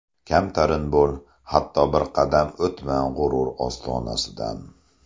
Kamtarin bo‘l, hatto bir qadam O‘tma g‘urur ostonasidan.